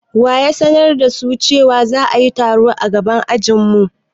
Wa ya sanar da su cewa za'ayi taro a gaban ajin mu?